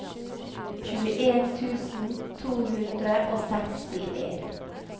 tjueen tusen to hundre og sekstien